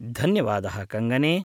धन्यवादः कङ्गने!